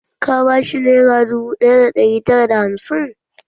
Ka ba shi nera dubu ɗaya da ɗari tara da hamsin?